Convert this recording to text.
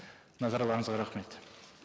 назарларыңызға рахмет